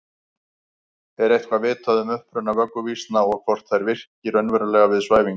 Er eitthvað vitað um uppruna vögguvísna og hvort þær virki raunverulega við svæfingu?